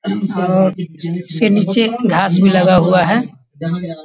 और इसके नीचे घास भी लगा हुआ है।